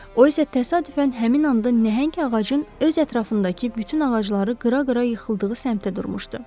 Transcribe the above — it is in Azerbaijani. O isə təsadüfən həmin anda nəhəng ağacın öz ətrafındakı bütün ağacları qıra-qıra yıxıldığı səmtə durmuşdu.